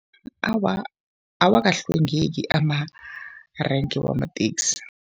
Awa, awakahlwengeki amarenke wamateksi.